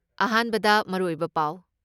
ꯑꯍꯥꯟꯕꯗ ꯃꯔꯨꯑꯣꯏꯕ ꯄꯥꯎ